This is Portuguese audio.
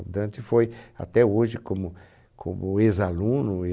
O Dante foi, até hoje, como como ex-aluno,